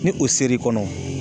Ni o ser'i kɔnɔ